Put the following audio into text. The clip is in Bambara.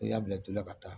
N'i y'a bila i la ka taa